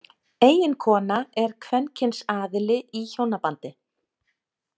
Eiginkona er kvenkyns aðili í hjónabandi.